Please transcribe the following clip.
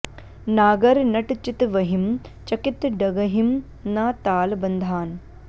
नागर नट चितवहिं चकित डगहिं न ताल बँधान